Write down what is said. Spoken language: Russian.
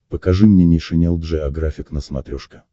покажи мне нейшенел джеографик на смотрешке